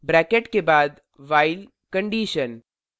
bracket के बाद while condition